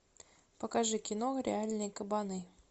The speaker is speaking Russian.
покажи кино реальные кабаны